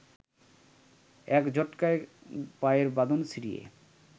এক ঝটকায় পায়ের বাঁধন ছিঁড়িয়া